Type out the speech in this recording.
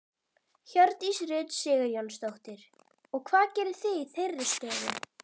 Hjördís Rut Sigurjónsdóttir: Og hvað gerið þið í þeirri stöðu?